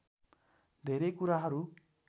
धेरै कुराहरू